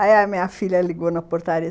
Aí a minha filha ligou na portaria.